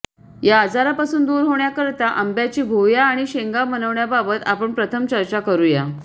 या आजारापासून दूर होण्याकरता आंब्याची भुवया आणि शेंगा बनवण्याबाबत आपण प्रथम चर्चा करू या